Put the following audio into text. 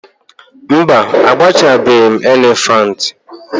mba, agbachabeghị m elephant